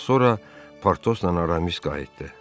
Az sonra Portosla Aramis qayıtdı.